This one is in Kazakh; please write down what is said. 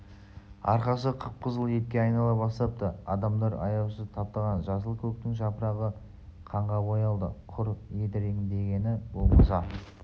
арқасы қып-қызыл етке айнала бастапты адамдар аяусыз таптаған жасыл көктің жапырағы қанға боялды құр едіреңдегені болмаса